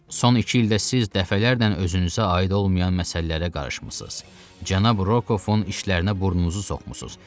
Son iki ildə siz dəfələrlə özünüzə aid olmayan məsələlərə qarışmısınız, cənab Rokovun işlərinə burnunuzu soxmusunuz.